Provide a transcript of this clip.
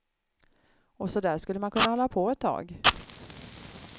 Och så där skulle man kunna hålla på ett tag.